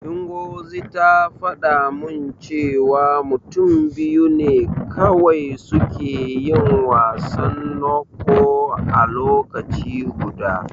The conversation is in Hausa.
Ngozi ta faɗa min cewa mutum biyu ne kawai suke yin wasan Ncho a lokaci guda.